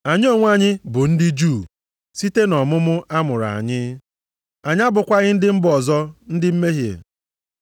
Anyị onwe anyị bụ ndị Juu site nʼọmụmụ a mụrụ anyị, anyị abụkwaghị ndị mba ọzọ ndị mmehie,